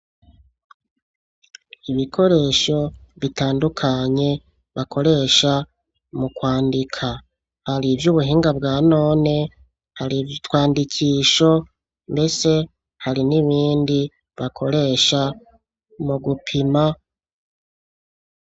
Ibikoresho bitandukanye bakoresha mu kwandika, hari ivy’ubuhinga bwa none, hari utwandisho, mbese hari n'ibindi bakoresha mu gupima